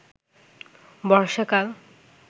বর্ষাকাল